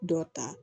Dɔ ta